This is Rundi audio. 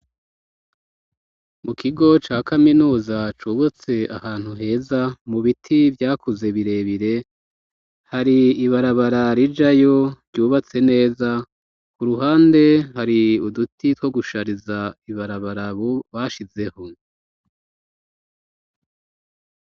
mu kigo ca kaminuza cubatse ahantu heza mu biti vyakuze birebire hari ibarabara rijayo ryubatse neza ku ruhande hari uduti two gushariza ibarabara ubu bashizeho